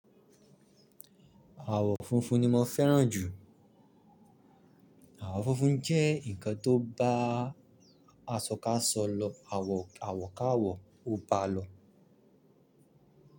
Àwọ̀ funfun ni mo fẹ́ràn jù. Àwọ̀ funfun jẹ́ ǹkan tó ba aṣọ káṣọ lọ, awo àwọ̀ káàwọ ó ba lọ.